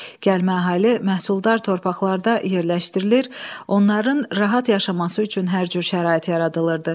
Gəlmə əhali məhsuldar torpaqlarda yerləşdirilir, onların rahat yaşaması üçün hər cür şərait yaradılırdı.